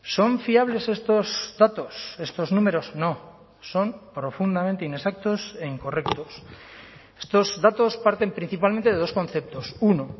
son fiables estos datos estos números no son profundamente inexactos e incorrectos estos datos parten principalmente de dos conceptos uno